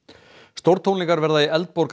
stórtónleikar verða í